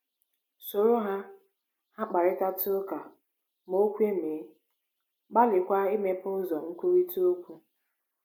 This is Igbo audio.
“ Soro ha ha kparịtatụ ụka ma o kwe mee, gbalịkwa imepe ụzọ nkwurịta okwu.